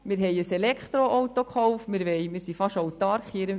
: Wir haben ein Elektroauto gekauft, wir sind in unserem Betrieb fast autark.